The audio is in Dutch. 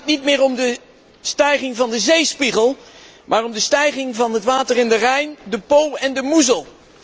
Het gaat niet meer om de stijging van de zeespiegel, maar om de stijging van het water in de Rijn, de Po en de Moezel.